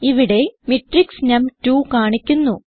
ഇവിടെ മാട്രിക്സ് നം2 കാണിക്കുന്നു